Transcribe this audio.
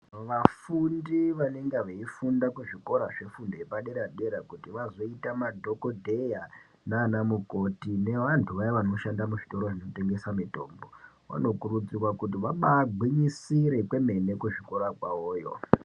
Vafundi vanenga veifunda kuzvikora zvepadera-dera kuti vazoita madhogodheya nana mukoti nevantu vaya vanoshanda muzvitoro zvinotengesa mitombo. Vanokurudzihwa kuti vabagwinyisire kwemene kuzvikora kwavoyo.